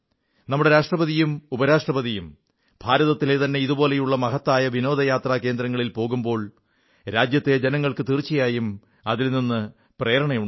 നമ്മുടെ രാഷ്ട്രപതിയും ഉപരാഷ്ട്രപതിയും ഭാരതത്തിലെതന്നെ ഇതുപോലെയുള്ള മഹത്തായ വിനോദയാത്രാ കേന്ദ്രങ്ങളിൽ പോകുമ്പോൾ രാജ്യത്തെ ജനങ്ങൾക്ക് തീർച്ചയായും അതിൽ നിന്ന് പ്രേരണയുണ്ടാകും